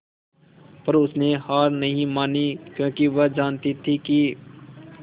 पर उसने हार नहीं मानी क्योंकि वह जानती थी कि